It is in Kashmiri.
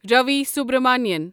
رَوی سبرامنین